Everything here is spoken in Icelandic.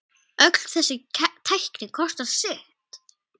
Öll þessi tækni kostar sitt.